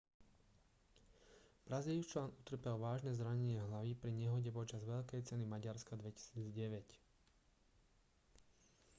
brazílčan utrpel vážne zranenie hlavy pri nehode počas veľkej ceny maďarska 2009